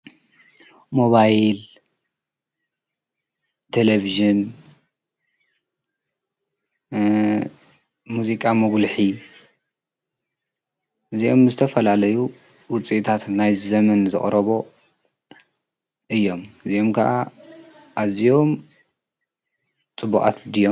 ሞባይል ተለብዝን፣ ሙዚቃ መጕልኂ እዚኦም ምስ ተፈላለዩ ውፂታት ናይ ዘምን ዘቕረቦ እዮም ።እዚኦም ከዓ ኣዝኦም ጽቡዓት ድዮም?